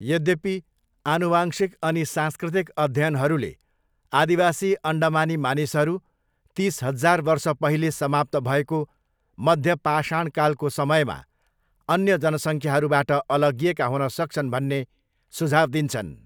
यद्यपि, आनुवांशिक अनि सांस्कृतिक अध्ययनहरूले आदिवासी अन्डमानी मानिसहरू तिस हजार वर्ष पहिले समाप्त भएको मध्य पाषाणकालको समयमा अन्य जनसङ्ख्याहरूबाट अलग्गिएका हुन सक्छन् भन्ने सुझाव दिन्छन्।